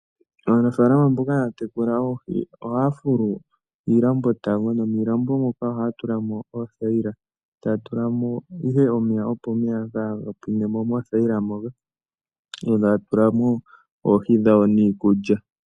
Aanafalama mboka haya tekula oohi, ohaya fulu iilambo, nomiilambo moka ohaya tula mo oothayila. Taya tula mo ihe omeya, omeya opo ga pwine mo moothayila moka. Taya tula oohi niikulya.